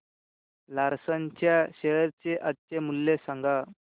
Larsen च्या share चे आजचे मूल्य सांगा